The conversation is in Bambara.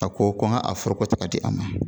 A ko ko n ka a foroko ta ka di a ma